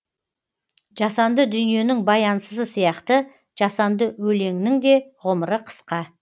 жасанды дүниенің баянсызы сияқты жасанды өлеңнің де ғұмыры қысқа